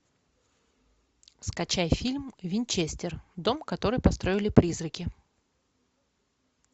скачай фильм винчестер дом который построили призраки